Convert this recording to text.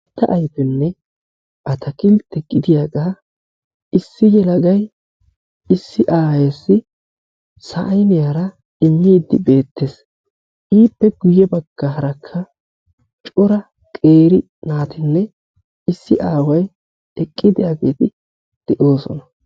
Santta ayfenne ataakilttee gidiyagaa issi yelagayi issi aayeessi sayiniyara immiiddi beettes. Ippe guyye baggaarakka cora qeeri naatinne issi aaway eqqidaageeti de'oosona.